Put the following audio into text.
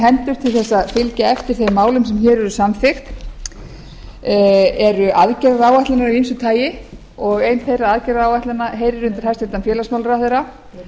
hendur til þess að fylgja eftir þeim málum sem hér eru samþykkt eru aðgerðaáætlanir af ýmsu tagi og ein þeirra aðgerðaáætlana heyrir undir hæstvirts félagsmálaráðherra